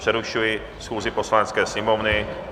Přerušuji schůzi Poslanecké sněmovny.